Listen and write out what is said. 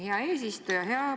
Hea eesistuja!